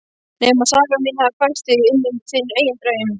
Nema saga mín hafi fært þig inní þinn eigin draum.